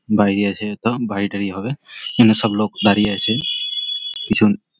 বাইরে আছে যত বাড়ি টাড়ি হবে। এখানে সব লোক দাঁড়িয়ে আছে পিছন --